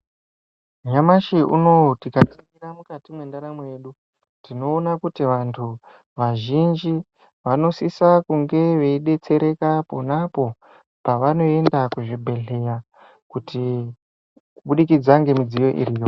Nyamashi unouyu tikaringira mukati mendaramo yedu. Tinoona kuti vantu vazhinji vanosisa kunge veibetsereka ponapo pavanoenda kuzvibhedhleya kuti kubudikidza ngemidziyo iriyo.